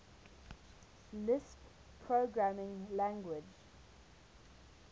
lisp programming language